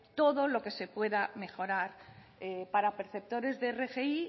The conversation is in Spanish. todo lo que se pueda mejorar para perceptores de rgi